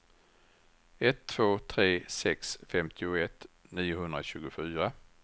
ett två tre sex femtioett niohundratjugofyra